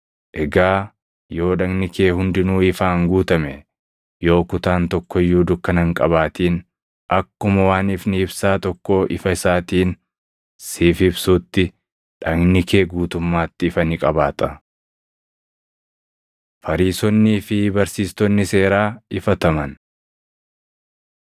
Egaa yoo dhagni kee hundinuu ifaan guutame, yoo kutaan tokko iyyuu dukkana hin qabaatin, akkuma waan ifni ibsaa tokkoo ifa isaatiin siif ibsuutti dhagni kee guutummaatti ifa ni qabaata.” Fariisonnii fi Barsiistonni Seeraa Ifataman